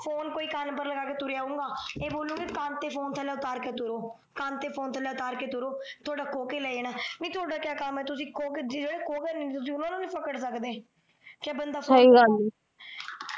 Phone ਕੋਈ ਕੰਨ ਪਰ ਲਗਾ ਕੇ ਤੂਰਿਆ ਆਉਗਾ ਇਹ ਬੋਲਣਗੇ ਕੰਨ ਤੇ ਫੋਨ ਥਲੇ ਉਤਾਰ ਕੇ ਤੂਰੋ ਕੰਨ ਤੇ ਫੋਨ ਥਲੇ ਉਤਾਰ ਕੇ ਤੂਰੋ ਤੁਹਾਡਾ ਖੋ ਕੇ ਲੈ ਜਾਣਾ ਨਹੀ ਤੁਹਾਡਾ ਕਿਆ ਕਾਮ ਆ ਤੁਸੀਂ ਖੋ ਕੇ ਜਿਹੜੇ ਖੋ ਕੇ ਤੁਸੀਂ ਓਹਨਾ ਨੂ ਨਹੀ ਫਕੜ ਸਕਦੇ ਕਿਆ ਬੰਦਾ ਸਹੀ ਗੱਲ ਏ।